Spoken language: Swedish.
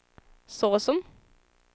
såsom